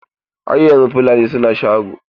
Har yanzu Fulani suna sharo.